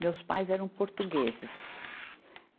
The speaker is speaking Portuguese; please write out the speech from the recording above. Meus pais eram portugueses.